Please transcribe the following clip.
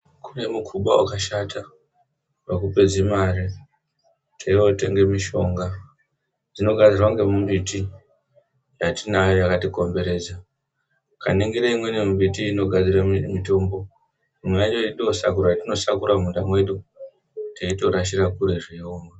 Kune mukuba wakashata. Unoda kupedze mare, tichotenge mishonga. Zvino kune mimbiti yatinayo yakatikomberedza . Ukaningira imweni mbiti iyi inogadzira mitombo. Mimwe yacho yatinosakura muminda yedu teitorashira kure.